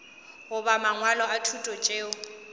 goba mangwalo a thuto tšeo